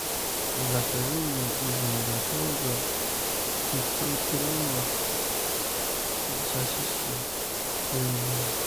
закажи мне из мираторга пятьсот граммов сосиски куриные